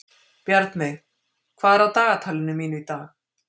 Bjarnveig, hvað er á dagatalinu mínu í dag?